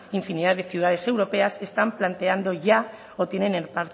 infinidad de ciudades europeas están planteando ya o tienen en